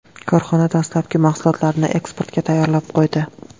Korxona dastlabki mahsulotlarni eksportga tayyorlab qo‘ydi.